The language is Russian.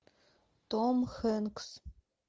том хэнкс